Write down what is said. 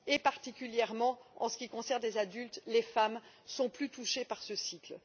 Et il faut savoir que, particulièrement en ce qui concerne les adultes, les femmes sont plus touchées par ce cycle.